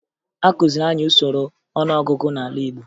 Akụziri anyị usoro ọnụọgụgụ n'ala Igbo